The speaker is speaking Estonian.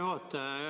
Hea juhataja!